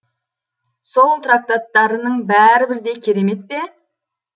сол трактаттарының бәрі бірдей керемет пе